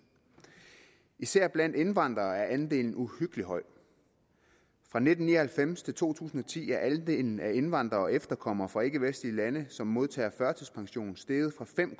især blandt indvandrere er andelen uhyggeligt høj fra nitten ni og halvfems til to tusind og ti er andelen af indvandrere og efterkommere fra ikkevestlige lande som modtager førtidspension steget fra fem